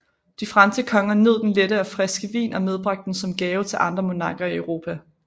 De franske konger nød den lette og friske vin og medbragte den som gave til andre monarker i Europa